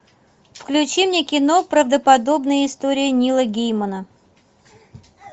включи мне кино правдоподобные истории нила геймана